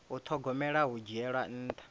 u thogomela hu dzhiela nṱha